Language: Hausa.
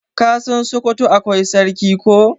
ka San sokoto akwai sarki ko?